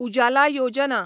उजाला योजना